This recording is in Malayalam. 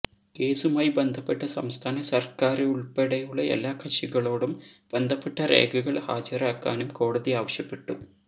കേസുമായി ബന്ധപ്പെട്ട സംസ്ഥാന സര്ക്കാരുള്പ്പെടെയുള്ള എല്ലാ കക്ഷികളോടും ബന്ധപ്പെട്ട രേഖകള് ഹാജരാക്കാനും കോടതി ആവശ്യപ്പെട്ടു